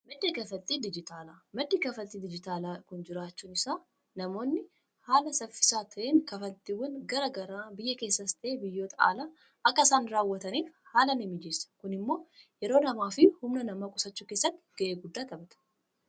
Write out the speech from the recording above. Maddi kanfaltii dijitaalaa kun jiraachuun isaa namoonni haala saffisaa ta'een kanfaltiiwwan garaa garaa biyya keessas ta'ee biyyoota alaa akka isaan raawwataniif haala nimijeessa. Kun immoo yeroo namaafi humna namaa qusachuu keessatti ga'ee guddaa qabaata.